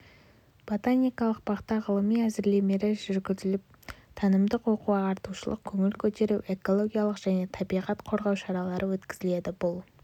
ботаникалық бақта ғылыми әзірлемелер жүргізіліп танымдық оқу-ағартушылық көңіл көтеру экологиялық және табиғат қорғау шаралары өткізіледі бұл